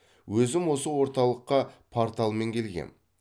өзім осы орталыққа порталмен келгем